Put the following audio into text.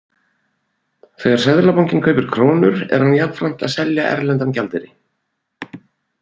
Þegar Seðlabankinn kaupir krónur er hann jafnframt að selja erlendan gjaldeyri.